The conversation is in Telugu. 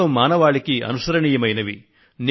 మొత్తం మానవాళికి అనుసరణీయమైనవి